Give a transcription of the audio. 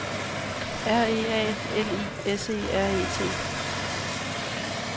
R E A L I S E R E T